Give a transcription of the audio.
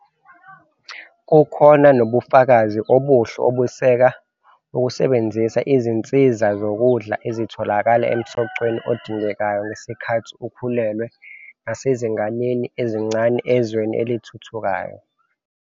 Kukhona nobufakazi obuhle obeseka ukusebenzisa izinsiza zokudla ezitholakala emsocweni odingekayo ngesikhathi ukhulelwe nasezinganeni ezincane ezweni elithuthukayo.